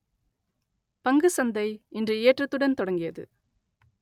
பங்குசந்தை இன்று ஏற்றத்துடன் தொடங்கியது